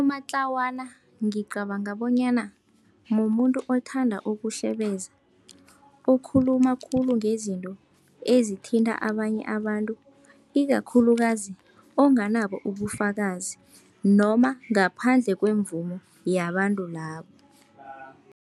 Amatlawana ngicabanga bonyana mumuntu othanda ukuhlebeza, okhuluma khulu ngezinto ezithinta abanye abantu, ikakhulukazi onganabo ubufakazi noma ngaphandle kwemvumo yabantu labo.